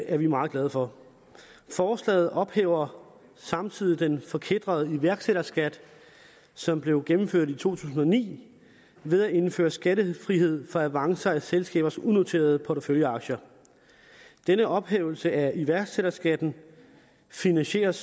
er vi meget glade for forslaget ophæver samtidig den forkætrede iværksætterskat som blev gennemført i to tusind og ni ved at indføre skattefrihed for avancer af selskabers unoterede porteføljeaktier denne ophævelse af iværksætterskatten finansieres